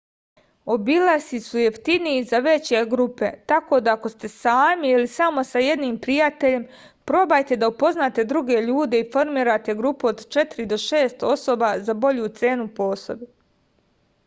obilasci su jeftiniji za veće grupe tako da ako ste sami ili samo sa jednim prijateljem probajte da upoznate druge ljude i formirate grupu od četiri do šest osoba za bolju cenu po osobi